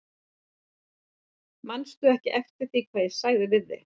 Manstu ekki eftir því hvað ég sagði við þig?